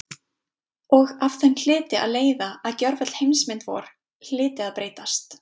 Og af þeim hlyti að leiða að gjörvöll heimsmynd vor hlyti að breytast.